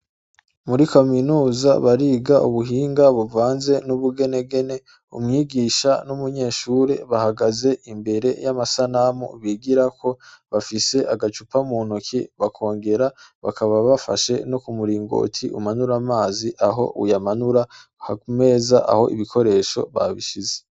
Muri kaminuza bariga ubuhinga buvanze n'ubugenegene umwigisha n'umunyeshuri bahagaze imbere y'amasanamu bigirako bafise agacupa mu ntoki bakongera bakaba bafashe no kumuringoti umanura amazi aho uyamanura hari imeza aho ibikoresho babishize.